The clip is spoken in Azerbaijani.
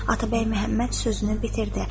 Atabəy Məhəmməd sözünü bitirdi.